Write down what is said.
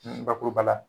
Bakuruba la